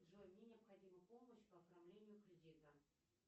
джой мне необходима помощь по оформлению кредита